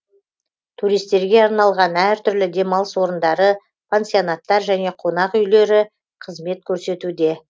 туристерге арналған әртүрлі демалыс орындары пансионаттар және қонақ үйлер қызмет көрсетуде